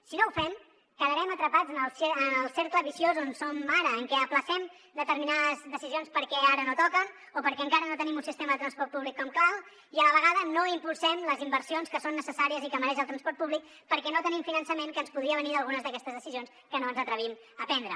si no ho fem quedarem atrapats en el cercle viciós on som ara en què ajornem determinades decisions perquè ara no toquen o perquè encara no tenim un sistema de transport públic com cal i a la vegada no impulsem les inversions que són necessàries i que mereix el transport públic perquè no tenim finançament que ens podria venir d’algunes d’aquestes decisions que no ens atrevim a prendre